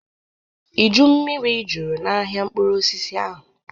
Iju mmiri juru n'ahịa mkpụrụ osisi ahụ.